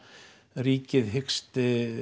ríkið hyggst